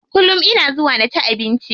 Kullum ina zuwa na ci abinci.